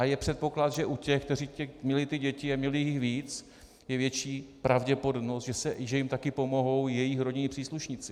A je předpoklad, že u těch, kteří měli ty děti a měli jich víc, je větší pravděpodobnost, že jim taky pomohou jejich rodinní příslušníci.